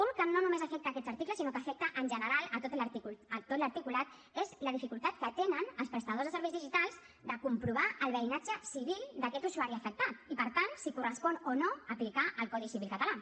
un que no només afecta aquests articles sinó que afecta en general tot l’articulat és la dificultat que tenen els prestadors de serveis digitals de comprovar el veïnatge civil d’aquest usuari afectat i per tant si correspon o no aplicar el codi civil català